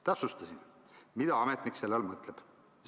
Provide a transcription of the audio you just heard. Täpsustasin, mida ametnik selle all mõtleb.